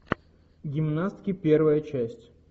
гимнастки первая часть